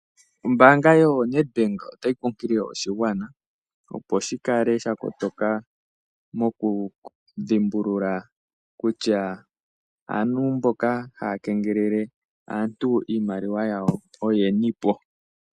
Ombanga yoNed Bank ota yi kunkulile oshigwana opo shi kale sha kotoka mokudhimbulula kutya aantu mboka haya kengelele aantu iimaliwa yawo oyeni.